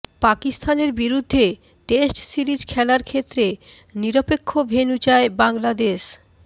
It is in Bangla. পাকিস্তানের বিরুদ্ধে টেস্ট সিরিজ খেলার ক্ষেত্রে নিরপেক্ষ ভেন্যু চায় বাংলাদেশ